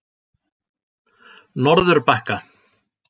Norðurbakka